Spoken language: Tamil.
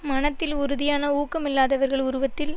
மனத்தில் உறுதியான ஊக்கமில்லாதவர்கள் உருவத்தில்